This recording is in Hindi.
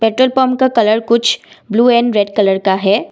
पेट्रोल पंप का कलर कुछ ब्लू एंड रेड कलर का है।